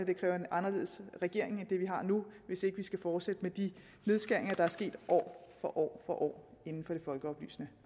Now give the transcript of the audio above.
det kræver en anderledes regering end den vi har nu hvis ikke vi skal fortsætte med de nedskæringer der er sket år for år inden for det folkeoplysende